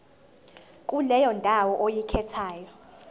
kuleyo ndawo oyikhethayo